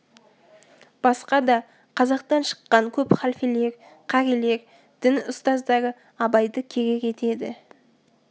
басқа да қазақтан шыққан көп халфелер қарилер дін ұстаздары абайды керек етеді